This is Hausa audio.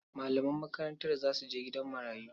Malaman makarantar za su je gidan marayu.